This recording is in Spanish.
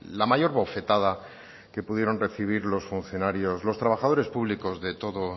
la mayor bofetada que pudieron recibir los funcionarios los trabajadores públicos de todo